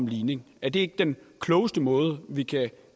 ligning er det ikke den klogeste måde vi kan